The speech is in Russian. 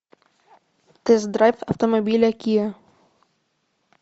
тест драйв автомобиля киа